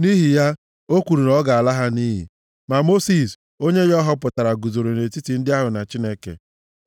Nʼihi ya, o kwuru na ọ ga-ala ha nʼiyi, ma Mosis, onye ya ọ họpụtara, guzoro nʼetiti ndị ahụ na Chineke,